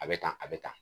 A bɛ tan a bɛ tan